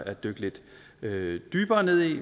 at dykke lidt dybere ned i